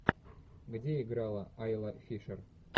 где играла айла фишер